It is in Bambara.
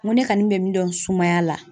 N ko ne kani bɛ min dɔn sumaya la